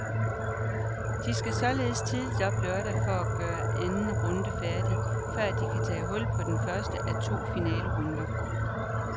De skal således tidligt op lørdag for at gøre anden runde færdig, før de kan tage hul på den første af to finalerunder.